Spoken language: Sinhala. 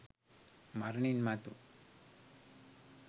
මරණින් මතු